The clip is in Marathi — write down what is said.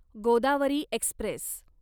गोदावरी एक्स्प्रेस